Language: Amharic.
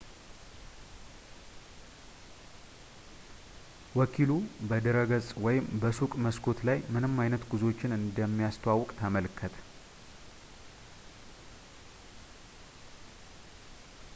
ወኪሉ ፣ በድረገፅ ወይም በሱቅ መስኮት ላይ፣ ምን አይነት ጉዞዎችን እንደሚያስተዋውቅ ተመልከት